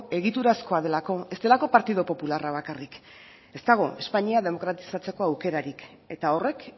egiturazkoa delako ez delako partidu popularra bakarrik ez dago espainia demokratizatzeko aukerarik eta horrek